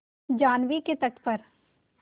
जाह्नवी के तट पर